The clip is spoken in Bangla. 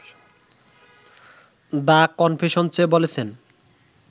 দ্য কনফেশন্সে বলেছেন